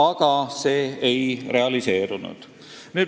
Aga see ei realiseerunud.